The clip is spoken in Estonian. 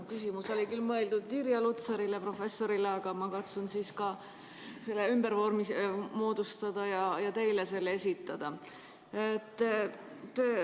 Mu küsimus oli mõeldud küll professor Irja Lutsarile, aga ma katsun selle ümber sõnastada ja teile esitada.